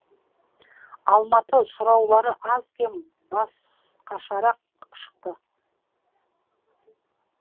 алматы сұраулары аз кем басқашарақ шықты